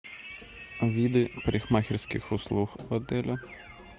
виды парикмахерских услуг в отеле